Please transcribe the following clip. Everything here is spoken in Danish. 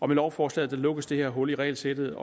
med lovforslaget lukkes det her hul i regelsættet